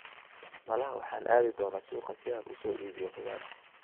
Malaha waxaan aadi doonaa suuqa si aan u soo iibiyo khudaar.